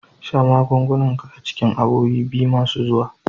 Sha magungunan ka a cikin awowi biyu masu zuwa.